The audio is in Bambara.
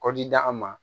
Kɔdida an ma